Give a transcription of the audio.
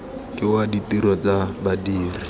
ke wa ditiro tsa badiri